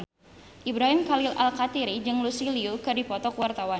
Ibrahim Khalil Alkatiri jeung Lucy Liu keur dipoto ku wartawan